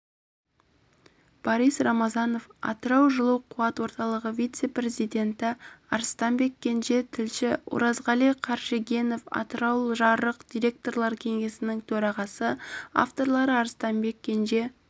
борис рамазанов атырау жылу қуат орталығы вице-президенті арыстанбек кенже тілші оразғали қаршегенов атыраужарық директорлар кеңесінің төрағасы авторлары арыстанбек кенже